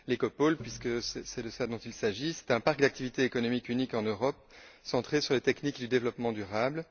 L'Écopole, puisque c'est de cela dont il s'agit, est un parc d'activités économiques unique en Europe centré sur les techniques du développement durable.